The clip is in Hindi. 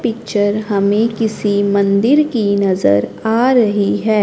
पिक्चर हमें किसी मंदिर की नज़र आ रही है।